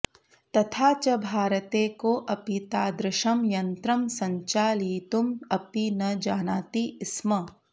तथा च भारते कोऽपि तादृशं यन्त्रं सञ्चालयितुम् अपि न जानाति स्म